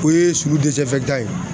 O ye sulu ye.